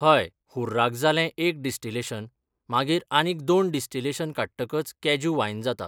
हय उर्राक जालें एक डिस्टिलेशन मागीर आनीक दोन डिस्टिलेशन काडटकच कॅज्यू वायन जाता.